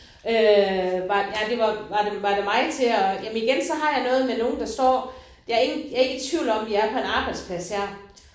Øh var ja det var var det var det mig til at jamen igen så har jeg noget med nogen der står jeg er ikke jeg er ikke i tvivl om vi er på en arbejdsplads her